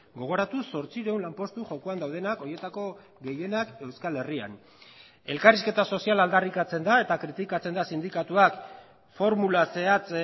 gogoratu zortziehun lanpostu jokoan daudenak horietako gehienak euskal herrian elkarrizketa soziala aldarrikatzen da eta kritikatzen da sindikatuak formula zehatz